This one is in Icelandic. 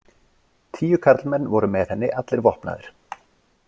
Tíu karlmenn voru með henni, allir vopnaðir.